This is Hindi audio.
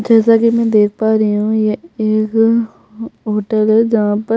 जैसा की मैं देख पा रही हु ये एक होटल है जहाँ पर --